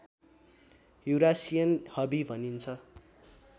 Eurasian हबी भनिन्छ